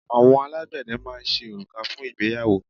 Àwọn alágbẹ̀dẹ máa ń ṣe òrùka fún ìgbéyàwó.